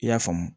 I y'a faamu